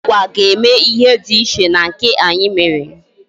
Ndị Agwa ga-eme ihe dị iche na nke anyị mere